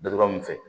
Dada mun fɛ